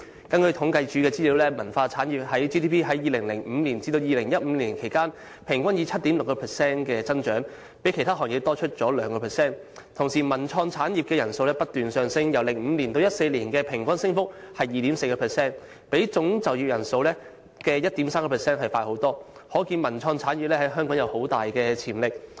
根據政府統計處資料，文化產業的 GDP 在2005年至2015年間平均以 7.6% 增長，比其他行業多出約 2%； 同時文化及創意產業的就業人數不斷上升，由2005年至2014年的平均升幅為 2.4%， 比總就業人數的 1.3% 為快，可見文化及創意產業在香港有很大潛力。